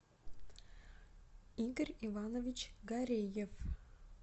игорь иванович гареев